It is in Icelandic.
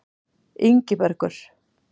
Ingibergur